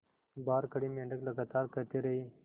बाहर खड़े मेंढक लगातार कहते रहे